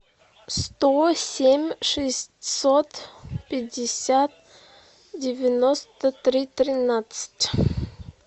сто семь шестьсот пятьдесят девяносто три тринадцать